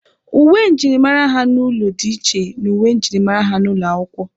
Uwe njirimara ha n'ụlọ dị iche n'uwe njirimara ha n'ụlọ akwụkwọ